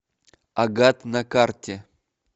агат на карте